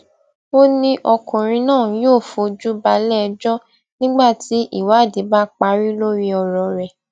ó ní ọkùnrin náà yóò fojú balẹẹjọ nígbà tí ìwádìí bá parí lórí ọrọ rẹ